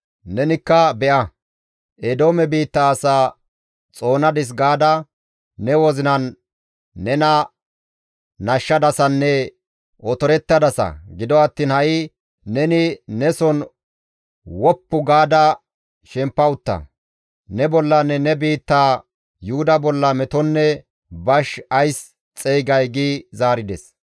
Nenikka, ‹Be7a, Eedoome biitta asaa xoonadis› gaada ne wozinan nena nashshadasanne otorettadasa; gido attiin ha7i neni neson woppu gaada shempa utta; ne bollanne ne biittaa Yuhuda bolla metonne bash ays xeygay?» gi zaarides.